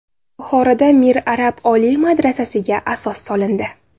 Buxoroda Mir Arab oliy madrasasiga asos solindi .